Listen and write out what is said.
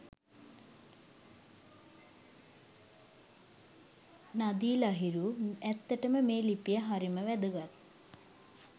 නදී ලහිරු ඇත්තටම මේ ලිපිය හරිම වැදගත්.